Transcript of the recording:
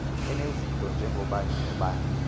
enezinto njengoobani noobani